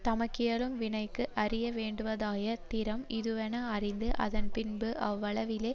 தமக்கியலும் வினைக்கு அறிய வேண்டுவதாய திறம் இதுவென அறிந்து அதன் பின்பு அவ்வளவிலே